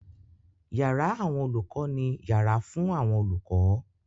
Yàrá àwọn olùkọ́ ni yàrá fún àwọn olùkọ́.